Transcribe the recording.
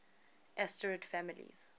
asterid families